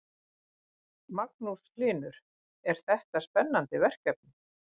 Magnús Hlynur: Er þetta spennandi verkefni?